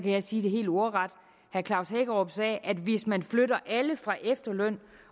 jeg sige det helt ordret herre klaus hækkerup sagde at hvis man flytter alle fra efterløn